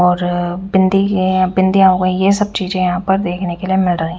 और बिंदी है बिंदिया होई ये सब चीज यहां पर देखने के लिए मिल रही--